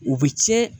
U bɛ tiɲɛ